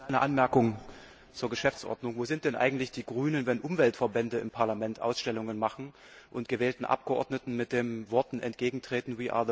Frau Präsidentin! Eine Anmerkung zur Geschäftsordnung Wo sind denn eigentlich die Grünen, wenn Umweltverbände im Parlament Ausstellungen machen und gewählten Abgeordneten mit den Worten entgegentreten